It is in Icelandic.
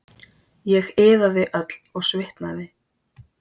Ég iðaði öll og svitnaði.